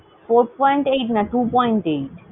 four point eight না, two point eight ।